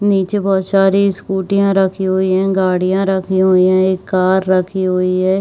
नीचे बहोत सारी स्कूटीयाँ रखी हुई है गाड़िया रखी हुई है एक कार रखी हुई है।